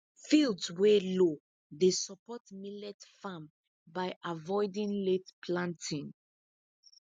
fields wey low dey support millet farm by avoiding late planting